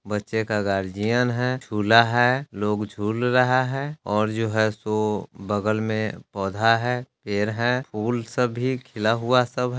बच्चे का गार्जियन है झूला है लोग झूल रहा है और जो है सो बगल में पौधा है पेड़ है फूल सब भी खिला हुआ सब --